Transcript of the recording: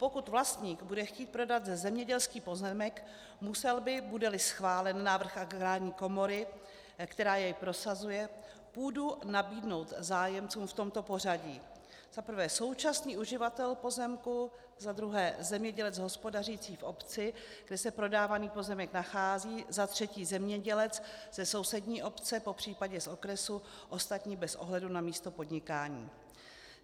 Pokud vlastník bude chtít prodat zemědělský pozemek, musel by, bude-li schválen návrh Agrární komory, která jej prosazuje, půdu nabídnout zájemcům v tomto pořadí: za prvé současný uživatel pozemku, za druhé zemědělec hospodařící v obci, kde se prodávaný pozemek nachází, za třetí zemědělec ze sousední obce, popřípadě z okresu, ostatní bez ohledu na místo podnikání.